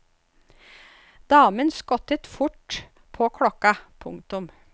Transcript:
Damen skottet fort på klokka. punktum